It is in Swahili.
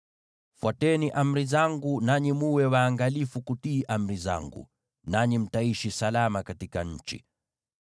“ ‘Fuateni amri zangu, mwe waangalifu kutii amri zangu, nanyi mtaishi salama katika nchi.